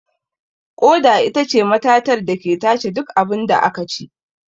Ƙoda itace matatar dake tace duk abunda akaci